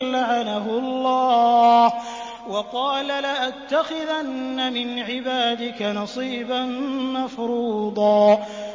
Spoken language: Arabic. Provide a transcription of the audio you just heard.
لَّعَنَهُ اللَّهُ ۘ وَقَالَ لَأَتَّخِذَنَّ مِنْ عِبَادِكَ نَصِيبًا مَّفْرُوضًا